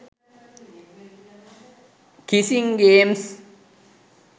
kissing games